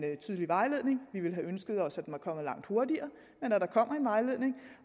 tydelig vejledning vi ville have ønsket os at den var kommet langt hurtigere